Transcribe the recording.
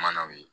Manaw ye